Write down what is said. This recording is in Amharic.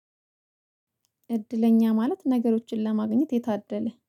እድለኛ ማለት ነገሮችን ለማግኘት የታደለ